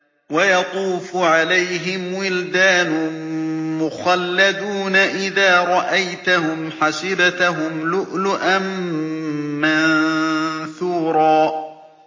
۞ وَيَطُوفُ عَلَيْهِمْ وِلْدَانٌ مُّخَلَّدُونَ إِذَا رَأَيْتَهُمْ حَسِبْتَهُمْ لُؤْلُؤًا مَّنثُورًا